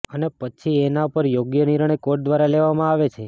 અને પછી એના પર યોગ્ય નિર્ણય કોર્ટ દ્વારા લેવામાં આવે છે